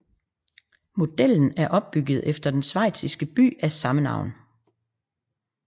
Modellen er opkaldt efter den schweiziske by af samme navn